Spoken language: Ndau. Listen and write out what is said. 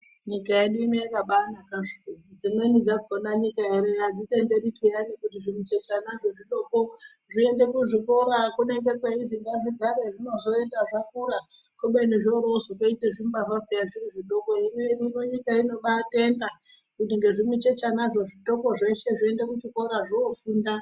Nyika yedu ino yakabanaka zvokuti, dzimweni dzakona nyika ere adzitenderi peyani kuti zvimuchechanazvo zvidoko zviende kuzvikora kunenge kweizwi gazvigare zvinozoenda zvakura kubeni zvorozotoite zvimbavha peya zvirizvidoko ,hino nyika inobatenda kuti ngezvimuchechanazvo zvitoko zveshe zviende kuchikora zvofunda.